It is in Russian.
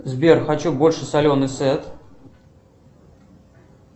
сбер хочу больше соленый сет